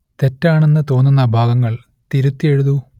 തെറ്റാണെന്ന് തോന്നുന്ന ഭാഗങ്ങൾ തിരുത്തി എഴുതൂ